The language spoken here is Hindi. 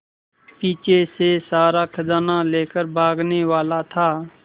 पीछे से सारा खजाना लेकर भागने वाला था